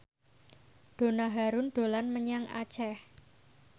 Donna Harun dolan menyang Aceh